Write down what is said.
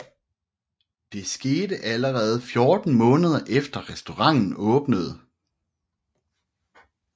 Det skete allerede 14 måneder efter restauranten åbnede